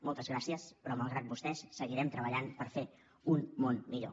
moltes gràcies però malgrat vostès seguirem treballant per fer un món millor